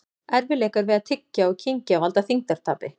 Erfiðleikar við að tyggja og kyngja valda þyngdartapi.